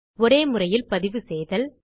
ஒரே முறையில் பதிவு செய்தல்